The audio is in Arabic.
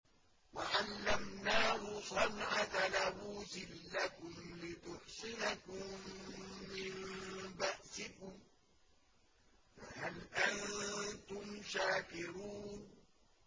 وَعَلَّمْنَاهُ صَنْعَةَ لَبُوسٍ لَّكُمْ لِتُحْصِنَكُم مِّن بَأْسِكُمْ ۖ فَهَلْ أَنتُمْ شَاكِرُونَ